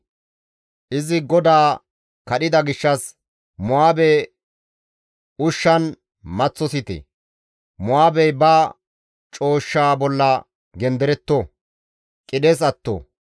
«Izi GODAA kadhida gishshas Mo7aabe ushshan maththosite; Mo7aabey ba cooshsha bolla genderetto; qidhes atto.